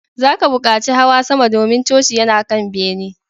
Za ka buƙaci hawa sama, domin coci yana kan bene